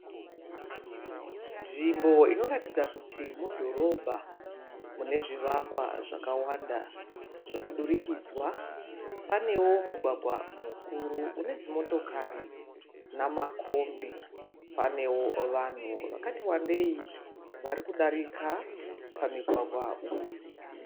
Nzvimbo inoratidza kuti mudhorobha. Mune zvivakwa zvakawanda zvomudurikidzwa. Panewo mugwagwa mukuru une dzimotokari namakombi. Pane vanhu vakati vakawandei vari kudarika pamigwagwa uyu.